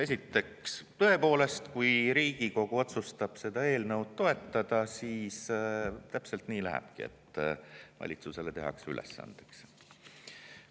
Esiteks, tõepoolest, kui Riigikogu otsustab seda eelnõu toetada, siis täpselt nii lähebki, et valitsusele tehakse see ülesandeks.